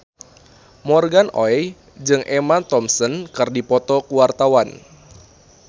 Morgan Oey jeung Emma Thompson keur dipoto ku wartawan